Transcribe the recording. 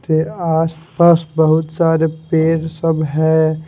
आसपास बहुत सारे पेड़ सब है।